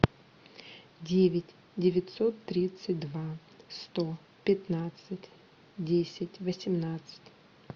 девять девятьсот тридцать два сто пятнадцать десять восемнадцать